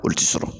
Olu ti sɔrɔ